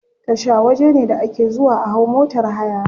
Tasha waje ne da ake zuwa a hau motar haya.